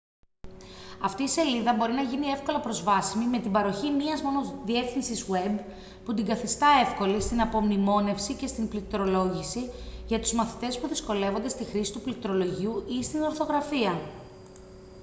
αυτή η σελίδα μπορεί να γίνει εύκολα προσβάσιμη με την παροχή μίας μόνο διεύθυνσης web που την καθιστά εύκολη στην απομνημόνευση και στην πληκτρολόγηση για τους μαθητές που δυσκολεύονται στη χρήση του πληκτρολογίου ή στην ορθογραφία